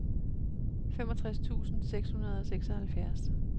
femogtres tusind seks hundrede og seksoghalvfjerds